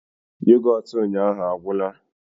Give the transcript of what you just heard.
Yoghurt ụnyaahụ agwụla